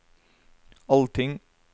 allting